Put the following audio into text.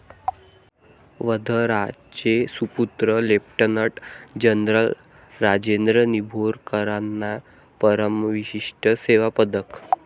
वर्ध्याचे सुपुत्र lieutenant general Rajendra निंभोरकरांना परमविशिष्ट सेवा पदक